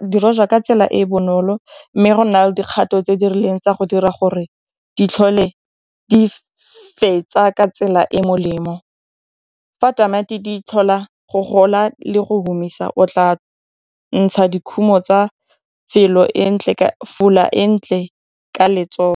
di rojwa ka tsela e bonolo mme go nna le dikgato tse di rileng tsa go dira gore di tlhole di fetsa ka tsela e molemo, fa tamati di tlhola go gola le go humisa o tla ntsha dikhumo tsa e ntle ka .